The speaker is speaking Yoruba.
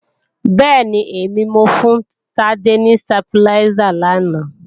Bẹ́ẹ̀ni, èmi mo fún Tádé ni stabiláísà làná